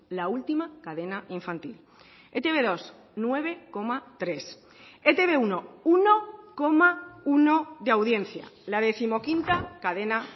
la última cadena infantil e te be dos nueve coma tres e te be uno uno coma uno de audiencia la décimoquinta cadena